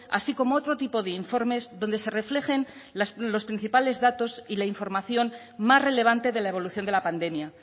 así como otro tipo de informes donde se reflejen los principales datos y la información más relevante de la evolución de la pandemia